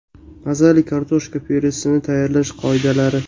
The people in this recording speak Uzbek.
Mazali kartoshka pyuresini tayyorlash qoidalari.